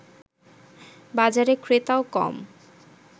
বাজারে ক্রেতাও কম